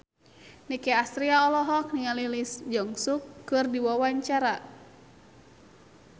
Nicky Astria olohok ningali Lee Jeong Suk keur diwawancara